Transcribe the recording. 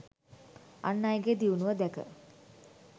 අන් අයගේ දියුණුව දැක